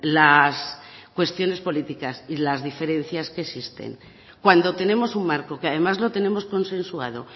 las cuestiones políticas y las diferencias que existen cuando tenemos un marco que además lo tenemos consensuado